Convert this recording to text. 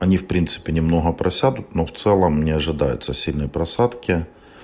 они в принципе немного просядут но в целом не ожидаются сильные просадки